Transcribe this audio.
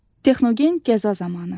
Texnogen qəza zamanı.